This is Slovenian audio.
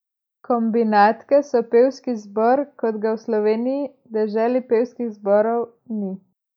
Kombinatke so pevski zbor, kot ga v Sloveniji, deželi pevskih zborov, ni.